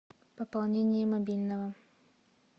пополнение мобильного